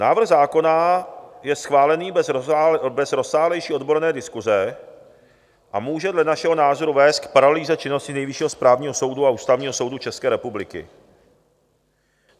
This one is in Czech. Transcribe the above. Návrh zákona je schválený bez rozsáhlejší odborné diskuse a může dle našeho názoru vést k paralýze činnosti Nejvyššího správního soudu a Ústavního soudu České republiky.